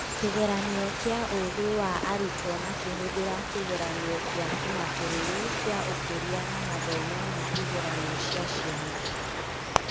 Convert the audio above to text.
Kĩgeranio kĩa ũgĩ wa arutwo makĩhũthĩra Kĩgeranio gĩa kĩmabũrũri kĩa ũkũria na mathomo ma igeranio cia ciana.